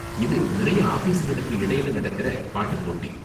இது நிறைய ஆஃபீஸுகளுக்கு இடையில நடக்கற பாட்டு போட்டி.